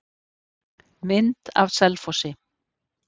Mynd af Selfossi.